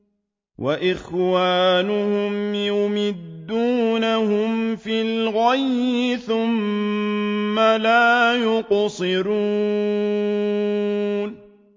وَإِخْوَانُهُمْ يَمُدُّونَهُمْ فِي الْغَيِّ ثُمَّ لَا يُقْصِرُونَ